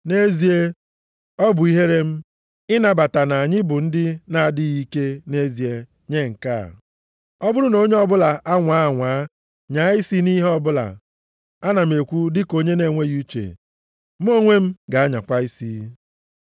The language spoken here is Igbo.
Nʼezie, ọ bụ ihere m, ịnabata na anyị bụ ndị na-adịghị ike nʼezie nye nke a. Ọ bụrụ na onye ọbụla anwaa anwaa nyaa isi nʼihe ọbụla (ana m ekwu dịka onye nʼenweghị uche), mụ onwe m ga-anyakwa isi.